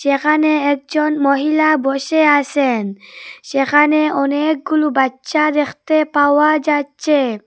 এখানে একজন মহিলা বসে আসেন সেখানে অনেকগুলু বাচ্চা দেখতে পাওয়া যাচ্ছে।